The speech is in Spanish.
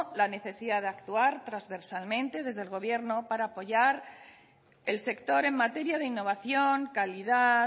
la necesidad de actuar transversalmente desde el gobierno para apoyar el sector en materia de innovación calidad